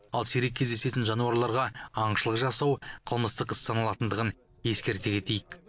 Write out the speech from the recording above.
ал сирек кездесетін жануарларға аңшылық жасау қылмыстық іс саналатындығын ескерте кетейік